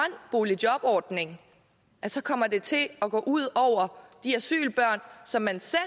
boligjobordning kommer det til at gå ud over de asylbørn som man selv